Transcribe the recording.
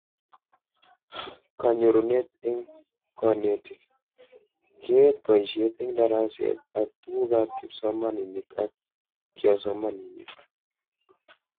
Kanyorunet eng konetik: Keet boishet eng daraset ak tugukab kipsomanink ak kiosomanink